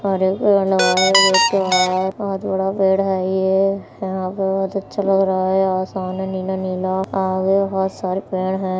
और एक बोहोत बड़ा पेड़ है ये यहाँ पे बोहोत अच्छा लग रहा है आसमान है नीला- नीला आगे बोहोत